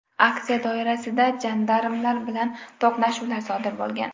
Aksiya doirasida jandarmlar bilan to‘qnashuvlar sodir bo‘lgan .